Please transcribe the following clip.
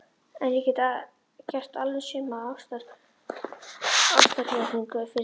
En ég get gert alveg sömu ástarjátninguna fyrir þér.